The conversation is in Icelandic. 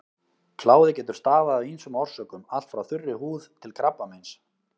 Kláði getur stafað af ýmsum orsökum, allt frá þurri húð til krabbameins.